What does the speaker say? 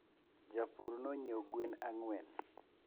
Japur nonyieo gwen ang'wen